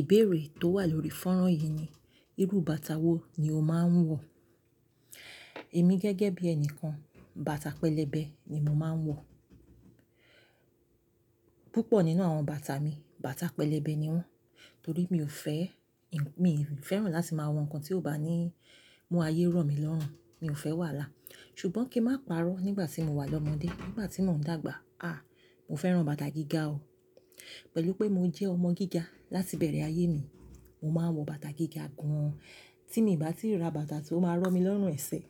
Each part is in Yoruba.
Ìbéèrè tó wà lórí fónrán yìí ni, irú bàtà wo ni o máa ń wọ̀? Èmi gẹ́gẹ́ bí ẹni kan, bàtà pẹlẹbẹ ni mo máa ń wọ̀. Púpọ̀ nínú àwọn bàtà mi, bàtà pẹlẹbẹ ni wọ́n. Torí mi ò fẹ́, mi ò fẹ́ràn láti máa wọ nǹkan tí ó bá ní mú ayé rọ̀ mi lọ́rùn, mi ò fẹ́ wàhalá. Ṣùgbọ́n kí n má parọ́, nígbà tí mo wà lọ́mọdé, nígbà tí mò ń dàgbà, àh, mo fẹ́ran bàtà gíga o. Pẹ̀lú pé mo jẹ́ ọmọ gíga láti ibẹ̀rẹ̀ ayé mi, mo máa ń wọ bàtà gíga gan-an. Tí mii i bá ti ra bàtà tí ó máa rọ̀ mi lọ́rùn ẹ̀sẹ̀,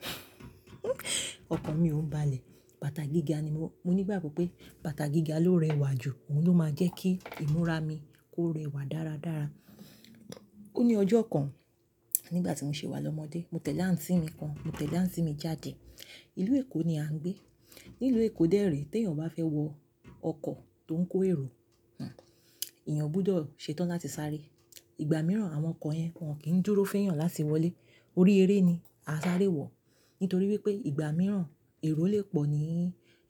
ọkàn mi ò ń balẹ̀. Bàtà gíga ni mo, mo ní ìgbàgbọ́ pé bàtà gíga ló rẹwà jù, òun ló máa jẹ́ kí ìmúra mi kó rẹwà dáradára. Ó ní ọjọ́ kan, nígbà tí mo ṣi wà lọ́mọdé, mo tẹ̀lé àǹtí mi kan, mo tẹ̀lé àǹtí mi jáde. Ìlú Èkó ni à ń gbé. Ní ìlú Èkó dè rè, tí èèyàn bá fẹ́ wọ ọkọ̀ tó ń kó èrò, hmm, èèyàn gbọdọ̀ ṣetán láti sáré. Ìgbà mìíràn àwọn ọkọ̀ yẹn wọ́n kì í dúró fún èèyàn láti wọlé. Orí eré ni a sáré wọ̀. Nítorí wípé ìgbà mìíràn èrò le pọ̀ ní,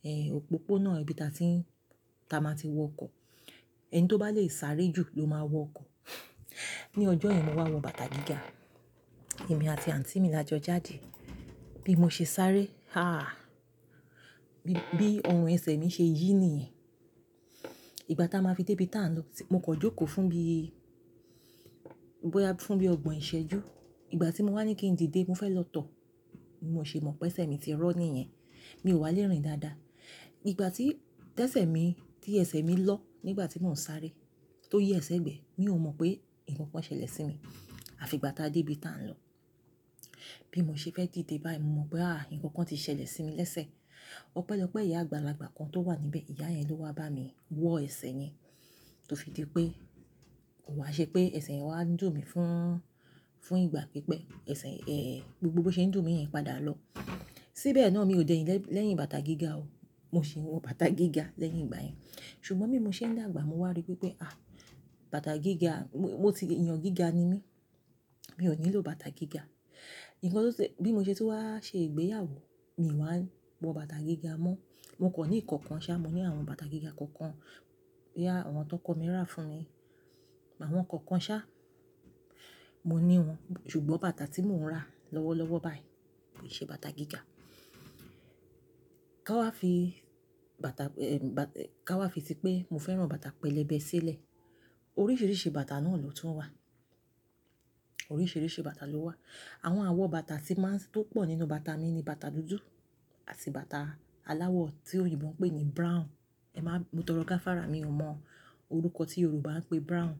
eh, òpópónà ibi táa ti n, táa máa ti wọ ọkọ̀. Ẹni tó bá lè sáré jù ló máa wọ ọkọ̀. Ní ọjọ́ yẹn mo wá wọ bàtà gíga, èmi àti àǹtí mi la jọ jáde. Bí mo ṣe sáré, ah, bí, bí ọrùn ẹ̀sẹ̀ mi ṣe yí niyen. Ìgbà táa máa fi dé ibi táa ń lọ, mo kan jókòó fún bí, bọ́ya fún bí ọgbọ̀n ìṣẹ́jú. Ìgbà tí mo wá ní kí n didé, mo fẹ́ lọ tọ̀. Bi mo ṣe mọ̀ pé ẹ̀sẹ̀ mi ti rọ́ ni yen, mi ò wá lérìn dáadáa. Ìgbà tí t'esẹ̀ mi, tí ẹ̀sẹ̀ mi lọ́ nígbà tí mò ń sáré tó yẹ̀ s'ẹ̀gbẹ, mi ò mọ̀ pé nǹkan kan ṣẹlẹ̀ sí mi. Àfi ìgbà táa dé ibi táa ń lọ. Bí mo ṣe fẹ́ dìde báyìí, mo mọ̀ pé ah, nǹkan kan ti ṣẹlẹ̀ sí mi lẹ́sẹ̀. Ọpẹ́lọpẹ́ ìyá àgbàlagba kan tó wà níbẹ̀, ìyá yẹn ló wá bá mi wọ ẹ̀sẹ̀ yẹn. To fi di pé, ò wá ṣe pé ẹ̀sẹ̀ yẹn wá ń dùn mí fún, fún ìgbà pípẹ́. Ẹ̀sẹ̀, eh, gbogbo bó ṣe ń dùn mí yẹn padà lọ. Síbẹ̀ náà mi ò dẹ̀yìn lẹ́yìn bàtà gíga o. Mo sì ń wọ bàtà gíga lẹ́yìn ìgbà yẹn. Ṣùgbọ́n bí mo ṣe ń dàgbà mo wá rí wi pé, àh, bàtà gíga, mo ti, èèyàn gíga ni mí, mi ò nílò bàtà gíga. Ǹkan tó ṣe, bí mo ṣe tun wá ṣe ìgbéyàwó, mi wá ń wọ bàtà gíga mọ́. Mo kọ̀ ní ìkan kan ṣá, mo ní àwọn bàtà gíga kan kan, boya àwọn ti ọkọ mi ra fún mi. Àwọn kan kan ṣá, mo ní wọ́n. Ṣùgbọ́n bàtà tí mò ń ra lọ́wọ́lọ́wọ́ báyìí kò n ṣe bàtà gíga. Ka wá fi bàtà, eh, ba, ka wá fi ti pé mo fẹ́ran bàtà pẹlẹbẹ sílẹ̀. Oríṣiríṣi bàtà náà ló tún wà. Oríṣiríṣi bàtà ló wà. Àwọn àwọ̀ bàtà tí máa ń, tó pọ̀ nínú bàtà mi ni bàtà dúdú àti bàtà aláwọ̀ tí òyìnbó ń pè ní brown. Ẹ̀má, mo tọrọ gáfárà mi ò mọ orúkọ tí Yorùbá ń pè brown.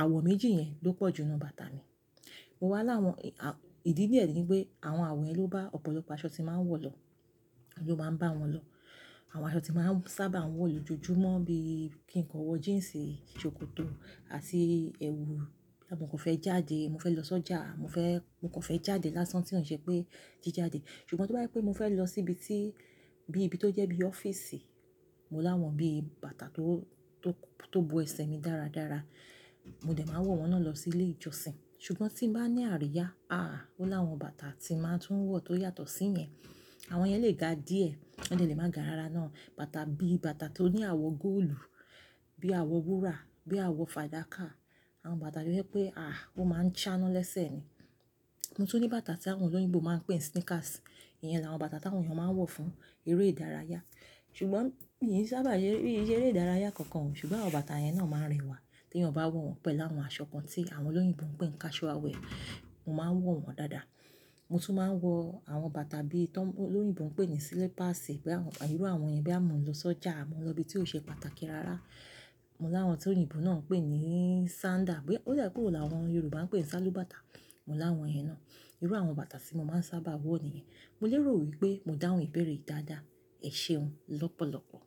Àwọ̀ méjì yẹn ló pọ̀ jù nínú bàtà mi. Mo wá láwọn, ìdí díẹ̀ ni pé àwọn àwọ̀ yẹn ló bá ọ̀pọ̀lọpọ̀ aṣọ tí máa ń wọ̀ lọ. Ó máa ń bá wọn lọ. Àwọn aṣọ tí máa ń sábà wọ̀ lójoojúmọ́ bí i kí n kan wọ jeans, ṣòkòtò àti ẹwù. Boya mò ka fẹ́ jáde, mo fẹ́ lọ sọ́jà, mo fẹ́, mo kan fẹ́ jáde lásán tí ò ṣe pé jíjáde. Ṣùgbọ́n tó bá je pé mo fẹ́ lọ sí ibi tí, bí ibi tó jẹ́ bí ọ́fíìsì, mo láwọn bí bàtà tó, tó, tó bo ẹ̀sẹ̀ mi dáradára. Mo dẹ̀ máa n wọ̀ wọn náà lọ sí ilé ìjọsìn. Ṣùgbọ́n tí n bá ní àríyá, ah, mo láwọn bàtà tí máa ń tún wọ̀ tó yàtọ̀ sí yẹn. Àwọn yẹn lè ga díẹ̀, wọ́n dẹ̀ lè máa ga ara náà. Bàtà bí bàtà tó ní àwọ̀ góòlù, bí àwọ̀ wúrà, bí àwọ̀ fàdákà. Àwọn bàtà tó jẹ́ pé ah, ó máa ń ṣáná lẹ́sẹ̀ ni. Mo tún ní bàtà tí àwọn olóyìnbó máa ń pè ní sneakers. Ìyẹn làwọn bàtà tí àwọn èèyàn máa ń wọ̀ fún eré ìdárayá. Ṣùgbọ́n mi n ṣábà se eré ìdárayá kankan o. Ṣùgbọ́n àwọn bàtà yẹn náà máa ń rẹwà tí èèyàn bá wọ̀ wọn pẹ̀lú àwọn aṣọ kan tí àwọn olóyìnbó ń pè ní casual wear, mo máa ń wọ̀ wọn dáadáa. Mo tún máa ń wọ àwọn bàtà bí tọ, olóyìnbó ń pè ní slippers, bí àwọn, irú àwọn yẹn bo ya mọ̀ ń lọ sọ́jà, mọ̀ ń lọ ibi tí ó ṣe pàtàkì rárá. Mo láwọn tí òyìnbó náà ń pè ní sandal, bí, ó dà ẹ́ pé óun làwọn Yorùbá ń pè ní sálúbàtà. Mo láwọn yẹn náà. Irú àwọn bàtà tí mo máa ń sábà wọ̀ nìyẹn. Mo lérò wípé mo dáhùn ìbéèrè dáadáa. Ẹ ṣeun lọ́pọ̀lọpọ̀.